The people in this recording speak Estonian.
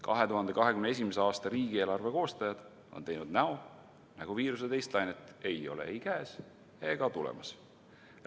2021. aasta riigieelarve koostajad on teinud näo, nagu viiruse teist lainet poleks käes ega tulemas.